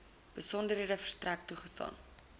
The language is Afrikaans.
besonderhede verstrek toegestaan